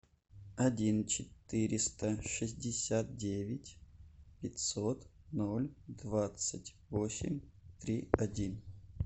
один четыреста шестьдесят девять пятьсот ноль двадцать восемь три один